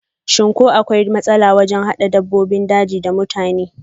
shim ko akwai matsala wajen hada dabbobin jeji da mutane?